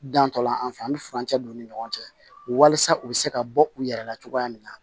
Dantɔla an fɛ yan an bɛ furancɛ don u ni ɲɔgɔn cɛ walasa u bɛ se ka bɔ u yɛrɛ la cogoya min na